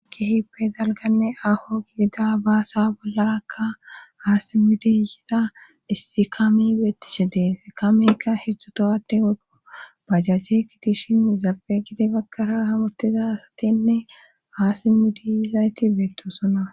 ki hippe zalganne aho gidida baasa bollarakka haa simidiyisa issi kami beettishe dees kamikka hedzdzutohade oykko bajajje kitishin zaabegidi pakara hamutiza asatinne haa simidiyizayti beettosona